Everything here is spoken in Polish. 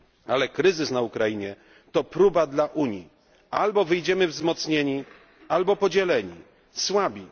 Ale kryzys na Ukrainie to próba dla Unii, albo wyjdziemy wzmocnieni, albo podzieleni, słabi.